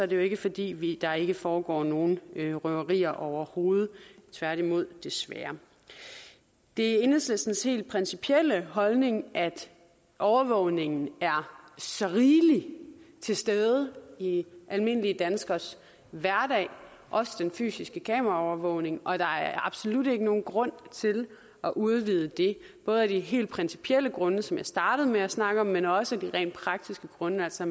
det jo ikke fordi der ikke foregår nogen røverier overhovedet tværtimod desværre det er enhedslistens helt principielle holdning at overvågningen er så rigelig til stede i i almindelige danskeres hverdag også den fysiske kameraovervågning og at der absolut ikke er nogen grund til at udvide det både af de helt principielle grunde som jeg startede med at snakke om men også af de rent praktiske grunde altså